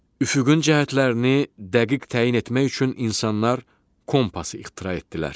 Üfüqün cəhətlərini dəqiq təyin etmək üçün insanlar kompas ixtira etdilər.